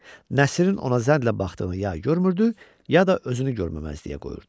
Nəsirin ona zənlə baxdığını ya görmürdü, ya da özünü görməməzliyə qoyurdu.